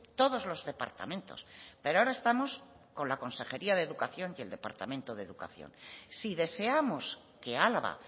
todos los departamentos pero ahora estamos con la consejería de educación y el departamento de educación si deseamos que álava